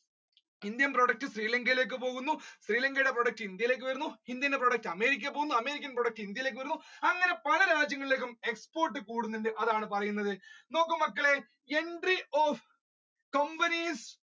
Indian product ശ്രീലങ്കയിലേക്ക് പോകുന്നു ശ്രീലങ്കയുടെ product ഇന്ത്യയിലേക്ക് വരുന്നു ഇന്ത്യയുടെ product അമേരിക്കയിലേക്ക് പോകുന്നു അമേരിക്കൻ product ഇന്ത്യയിലേക്ക് വരുന്നു അങ്ങനെ പല രാജ്യങ്ങളിലേക്കും കൂടുന്നുണ്ട് അതാണ് പറയുന്നത് നോക്കൂ മക്കളെ entry of companies